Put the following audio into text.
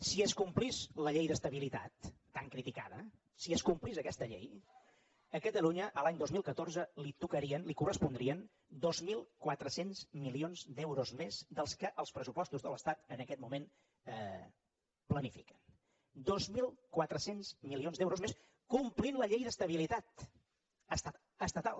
si s’acomplís la llei d’estabilitat tan criticada si s’acomplís aquesta llei a catalunya l’any dos mil catorze li tocarien li correspondrien dos mil quatre cents milions d’euros més dels que els pressupostos de l’estat en aquest moment planifiquen dos mil quatre cents milions d’euros més complint la llei d’estabilitat estatal